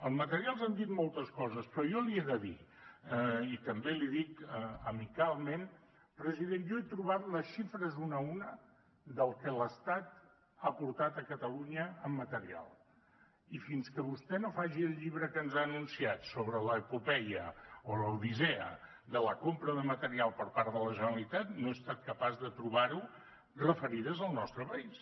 del material s’han dit moltes coses però jo li he de dir i també li ho dic amicalment president jo he trobat les xifres una a una del que l’estat ha aportat a catalunya amb material i fins que vostè no faci el llibre que ens ha anunciat sobre l’epopeia o l’odissea de la compra de material per part de la generalitat no he estat capaç de trobar ho referides al nostre país